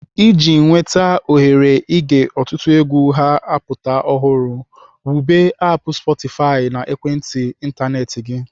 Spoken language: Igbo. Iji nweta ohere ige ọtụtụ egwu ha-apụta ọhụrụ, wube aapụ "sportify" na ekwentị ịntanetị gị.